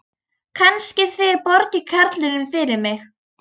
Kannski þið borgið karlinum fyrir mig.